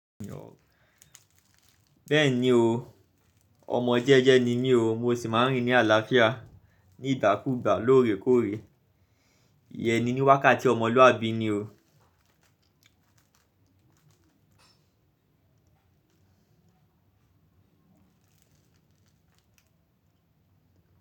Bẹ́ẹ̀ni o, ọmọ jẹ́jẹ́ ni mí o, mo sì máa ń rí ní àlàáfíà ní ìgbákùgbà lóòrèkóòrè. Iyẹ́n ni ní wákàtí ọmọlúwàbí ni o.